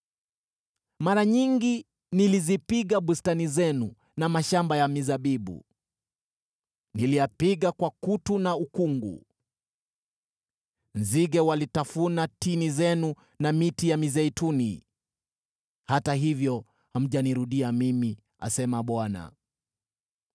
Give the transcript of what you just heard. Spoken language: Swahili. “Mara nyingi nilizipiga bustani zenu na mashamba ya mizabibu, niliyapiga kwa kutu na ukungu. Nzige walitafuna tini zenu na miti ya mizeituni, hata hivyo hamjanirudia mimi,” asema Bwana .